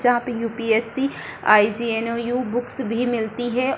जहाँ पे UPSC. IGNOU. Books भी मिलती है।